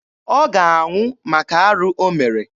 Ọ ga-anwụ maka arụ o mere.